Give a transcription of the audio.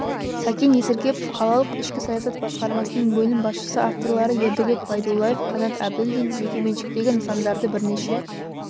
сәкен есіркепов қалалық ішкі саясат басқармасының бөлім басшысы авторлары ердәулет байдуллаев қанат әбілдин жекеменшіктегі нысандарды бірнеше